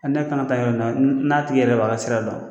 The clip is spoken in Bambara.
Ne kan ka taa yɔrɔ min na n'a tigi yɛrɛ b'a ka sira dɔn.